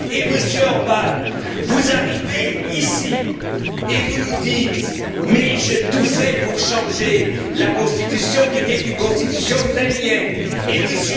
Monsieur Orbán, vous arrivez ici et vous nous dites Mais j'ai tout fait pour changer la Constitution, qui était une Constitution stalinienne, et